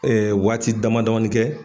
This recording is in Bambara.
waati dama damanin kɛ.